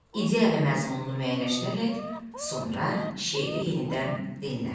İdeya və məzmununu müəyyənləşdirərək sonra şeiri yenidən dinlə.